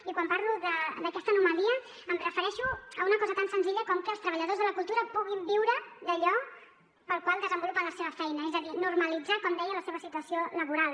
i quan parlo d’aquesta anomalia em refereixo a una cosa tan senzilla com que els treballadors de la cultura puguin viure d’allò pel qual desenvolupen la seva feina és a dir normalitzar com deia la seva situació laboral